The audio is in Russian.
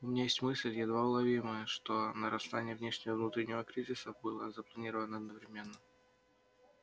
у меня есть мысль едва уловимая что нарастание внешнего и внутреннего кризисов было запланировано одновременно